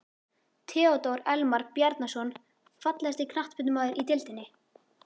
Theodór Elmar Bjarnason Fallegasti knattspyrnumaðurinn í deildinni?